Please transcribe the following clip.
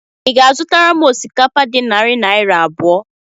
Ị ga-azụtara m osikapa dị narị naira abụọ?